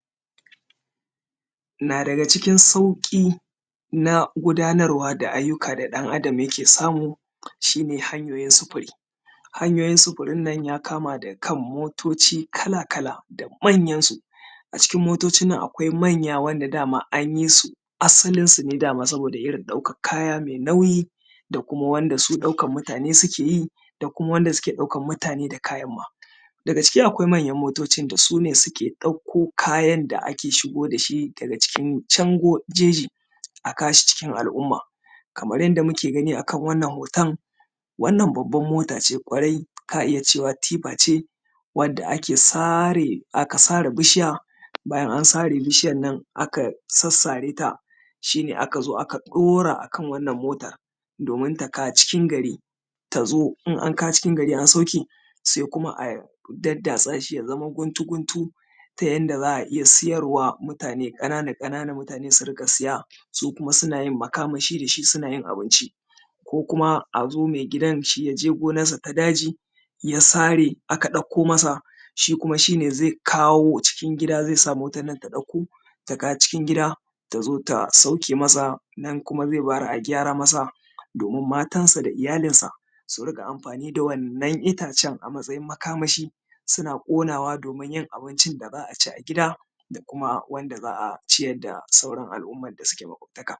na daga cikin sauƙi na gudanarwa da ayyuka da ɗan adam yake samu shi ne hanyoyin sufuri hanyoyin sufurin nan ya kama daga kan motoci kala-kala da manyan su a cikin motocin nan akwai manya wanda dama anyi su asalin su dama saboda irin ɗaukar kaya mai nauyi da kuma wanda su ɗaukan mutane sukeyi da kuma wanda suke ɗaukan mutane da kayan ma daga ciki akwai manyan motocin da sune suke ɗauko kayan da ake shigo da shi daga cikin can jeji a kawo shi cikin al’umma kamar yadda muke gani akan wannan hoton wannan babbar mota ce ƙwarai ka iya cewa tifa ce wanda ake sare aka sare bishiya bayan an sare bishiyar nan aka sassare ta shi ne aka zo aka ɗora akan wannan motar domin ta kawo cikin gari tazo in an kawo cikin gari an sauke sai kuma a daddatsa shi ya zama guntu-guntu ta yanda za a iya siyarwa mutane ƙanana-ƙanana su riƙa siya su kuma suna yin makaman shi da shi suna yin abinci ko kuma azo mai gidan shi yaje gonar sa ta daji ya sare aka ɗauko masa shi kuma shi ne zai kawo cikin gida zai sa motan nan ta ɗauko ta kawo cikin gida tazo ta sauke masa nan kuma zai bayar a gyara masa domin matansa da iyalin sa su riƙa amfani da wannan itacen a matsayin makamashi suna ƙonawa domin yin abincin da za a ci a gida da kuma wanda za a ciyar da sauran al’ummar da suke